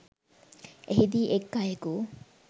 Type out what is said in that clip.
එහිදී එක් අයෙකු